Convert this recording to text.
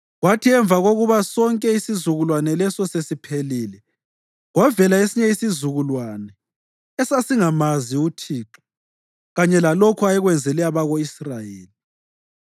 Kwathi emva kokuba sonke isizukulwane leso sesiphelile, kwavela esinye isizukulwane esasingamazi uThixo kanye lalokho ayekwenzele abako-Israyeli.